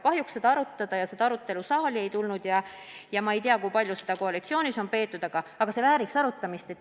Kahjuks see arutelu saali ei tulnud ja ma ei tea, kui palju seda koalitsioonis on peetud, aga see vääriks arutamist.